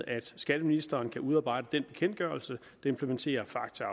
at skatteministeren kan udarbejde den bekendtgørelse der implementerer facta